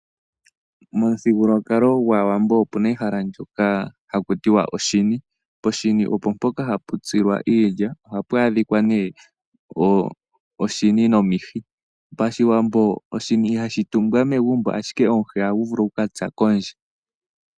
Momuthigululwakalo gwaawambo opuna ehala ndoka hakutiwa oshini, poshini opo mpoka hapu tsilwa iilya. ohapu adhikwa nee oshini nomihi pashiwambo oshini ihashitumbwa megumbo ashike omuhi ohaguvulu okukatsa kondje.